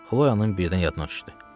Xloyanın birdən yadına düşdü.